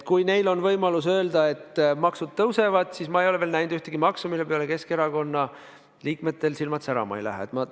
Kui neil on võimalus öelda, et maksud tõusevad, siis ma ei ole näinud veel ühtegi maksu, mille peale Keskerakonna liikmetel silmad särama ei lähe.